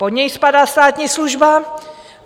Pod něj spadá státní služba.